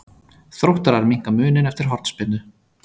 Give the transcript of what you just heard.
Þróttarar minnka muninn eftir hornspyrnu.